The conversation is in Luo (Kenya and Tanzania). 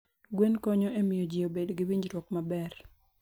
Gwen konyo e miyo ji obed gi winjruok maber.